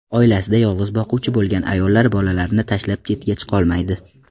Oilasida yolg‘iz boquvchi bo‘lgan ayollar bolalarini tashlab chetga chiqolmaydi.